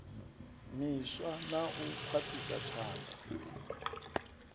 miswa na u khwaṱhisa tshanḓa